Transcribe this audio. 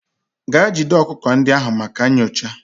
Gaa jide ọkụkọ ndị ahụ maka nyocha!.